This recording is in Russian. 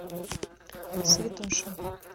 святоша